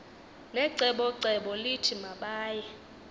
necebocebo lithi mabaye